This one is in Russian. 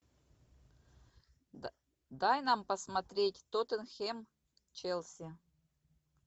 дай нам посмотреть тоттенхэм челси